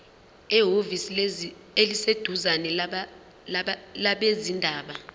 ehhovisi eliseduzane labezindaba